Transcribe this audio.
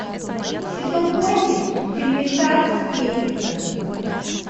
сезон восемь фильмеца сплетница